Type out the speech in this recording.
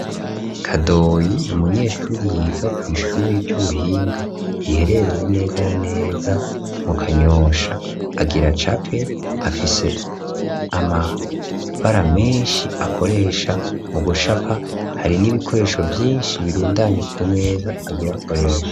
Kadoyi n'umunyeshuri yiga kw'ishuri ry'ubuhinga riherereye neza na neza mu Kanyosha, agira acape afise amabara menshi akoresha mu gucapa, hari n'ibikoresho vyinshi birundanye ku meza agira akoreshe.